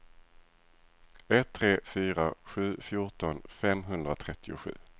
ett tre fyra sju fjorton femhundratrettiosju